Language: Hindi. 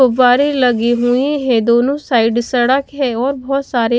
फव्वारे लगे हुए हैं दोनों साइड सड़क है और बहोत सारे--